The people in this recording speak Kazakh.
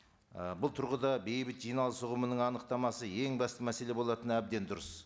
і бұл тұрғыда бейбіт жиналыс ұғымының анықтамасы ең басты мәселе болатыны әбден дұрыс